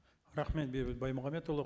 рахмет бейбіт баймағамбетұлы